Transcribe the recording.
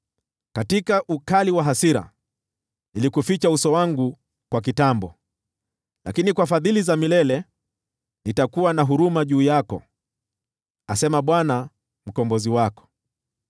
Katika ukali wa hasira nilikuficha uso wangu kwa kitambo, lakini kwa fadhili za milele nitakuwa na huruma juu yako,” asema Bwana Mkombozi wako.